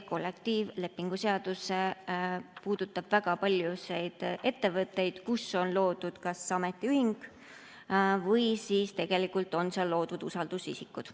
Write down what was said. Kollektiivlepingu seadus puudutab väga paljusid ettevõtteid, kus on loodud kas ametiühing või kus tegelikult on usaldusisikud.